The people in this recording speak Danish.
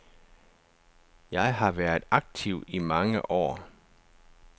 Jeg har været aktiv i mange år.